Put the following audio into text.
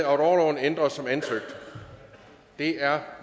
orloven ændres som ansøgt det er